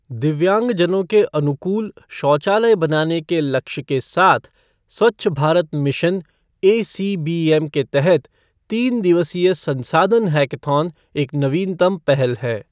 दिव्यांगजनों के अनुकूल शौचालय बनाने के लक्ष्य के साथ, स्वच्छ भारत मिशन एसीबीएम के तहत तीन दिवसीय संसाधन हैकथॉन एक नवीनतम पहल है।